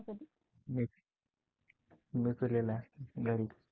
मी मी पिलेला आहे घरी.